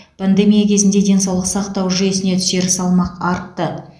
пандемия кезінде денсаулық сақтау жүйесіне түсер салмақ артты